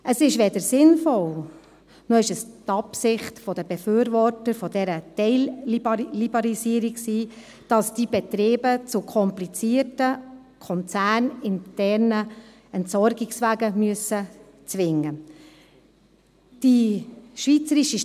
Es ist weder sinnvoll, noch war es die Absicht der Befürworter dieser Teilliberalisierung, dass diese Betriebe zu komplizierten konzerninternen Entsorgungswegen gezwungen werden.